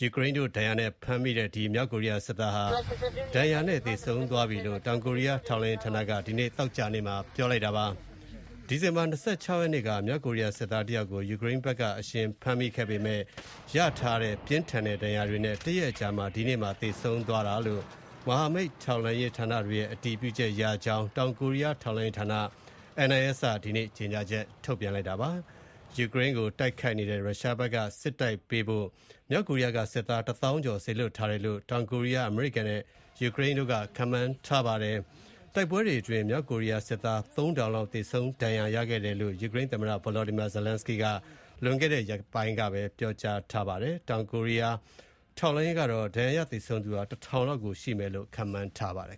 ယူကရိန်းတို့ဖမ်းမိတဲ့ ဒဏ်ရာရထားသူမြောက်ကိုရီးယားစစ်သားဟာ ဒဏ်ရာနဲ့သေဆုံးသွားပြီလို့ တောင်ကိုရီးယားထောက်လှမ်းရေးဌာနက ဒီနေ့ သောကြာနေ့မှာ ပြောကြားလိုက်ပါတယ်။ ဒီဇင်ဘာ ၂၆ ရက်နေ့က မြောက်ကိုရီးယားစစ်သားတယောက်ကို ယူကရိန်းဘက်က အရှင်ဖမ်းမိပေမဲ့ ရရှိထားတဲ့ပြင်းထန်ဒဏ်ရာတွေကြောင့် တရက်အကြာ ဒီနေ့မှာ သေဆုံးသွားတယ်ဆိုတာ မဟာမိတ် ထောက်လှမ်းရေးဌာနတွေရဲ့ အတည်ပြုချက်ရတယ်လို့ တောင်ကိုရီးယားထောက်လှမ်းရေးဌာန NIS က ဒီနေ့ ကြေညာချက်ထုတ်ပြန်ပါတယ်။ ယူကရိန်းကိုတိုက်ခိုက်နေတဲ့ရုရှားဘက်ကတိုက်ပေးဖို့ မြောက်ကိုရီးယားက စစ်သားတသောင်းကျော် စေလွှတ်ထားတယ်လို့ တောင်ကိုရီးယား၊ အမေရိကန်နဲ့ ယူကရိန်းတို့က ခန့်မှန်းထားပါတယ်။ တိုက်ပွဲတွေအတွင်း မြောက်ကိုရီးယား စစ်သား ၃,၀၀၀ လောက် သေဆုံးဒဏ်ရာရခဲ့တယ်လို့ ယူကရိန်း သမ္မတ Volodymyr Zelensky က လွန်ခဲ့တဲ့ ရက်ပိုင်းကပဲ ပြောကြားထားပါတယ်။ တောင်ကိုရီးယား ထောက်လှမ်းရေးကတော့ ဒဏ်ရာရ သေဆုံးသူ ၁,၀၀၀ လောက်ရှိမယ် လို့ ခန့်မှန်းပါတယ်